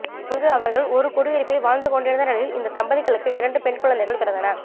அங்கு அவர்கள் ஒரு குடியிருப்பில் வாழ்ந்து கொண்டிருந்த நிலையில் இந்த தம்பதிகளுக்கு இரண்டு பெண் குழந்தைகள் பிறந்தன